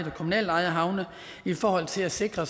og kommunalt ejede havne i forhold til at sikre